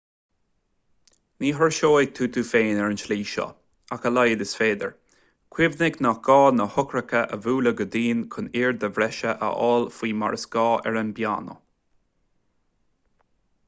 ní thuirseoidh tú tú féin ar an tslí seo ach a laghad is féidir cuimhnigh nach gá na heochracha a bhualadh go dian chun airde bhreise a fháil faoi mar is gá ar an bpianó